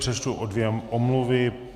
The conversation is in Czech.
Přečtu dvě omluvy.